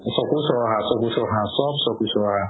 চকু চৰহা চকু চৰহা চ'ব চকু চৰহা